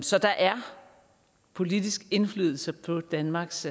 så der er politisk indflydelse på danmarks